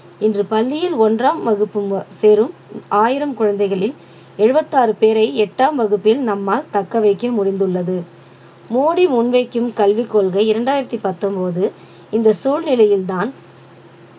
இன்று பள்ளியில் ஒன்றாம் வகுப்பு சேரும் ஆயிரம் குழந்தைகளில் எழுவத்தாறு பேரை எட்டாம் வகுப்பில் நம்மால் தக்கவைக்க முடிந்துள்ளது மோடி முன்வைக்கும் கல்விக் கொள்கை இரண்டாயிரத்து பத்தொன்பது இந்த சூழ்நிலையில்தான்